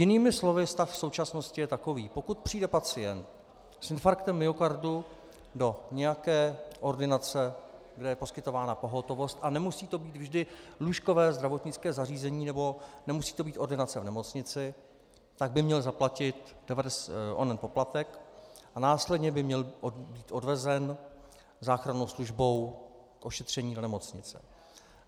Jinými slovy, stav v současnosti je takový - pokud přijde pacient s infarktem myokardu do nějaké ordinace, kde je poskytována pohotovost, a nemusí to být vždy lůžkové zdravotnické zařízení nebo nemusí to být ordinace v nemocnici, tak by měl zaplatit onen poplatek a následně by měl být odvezen záchrannou službou k ošetření do nemocnice.